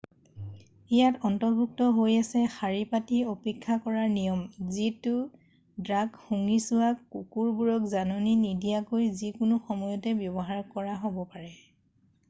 ইয়াত অন্তৰ্ভুক্ত হৈ আছে শাৰী পাতি অপেক্ষা কৰাৰ নিয়ম যিহেতু ড্ৰাগ শুঙি চোৱা কুকুৰবোৰক জাননী নিদিয়াকৈ যিকোনো সময়তে ব্যৱহাৰ কৰা হ'ব পাৰে